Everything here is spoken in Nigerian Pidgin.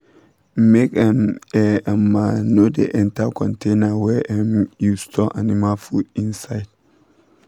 make um air um no da enter container wey um you store animal food inside